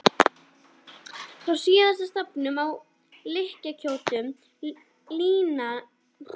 Frá síðasta stafnum lá hlykkjótt lína þvert yfir skinnið.